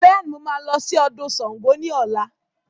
Bẹẹni, mo máa lọ sí ọdún Sángo ni ọ̀la